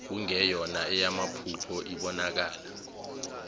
kungeyona eyamaphupho ibonakala